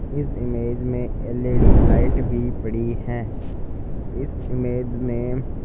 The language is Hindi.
इस इमेज में एल_ई_डी लाइट भी पड़ी है इस इमेज में--